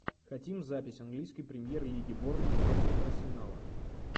хотим запись английской премьер лиги борнмут против арсенала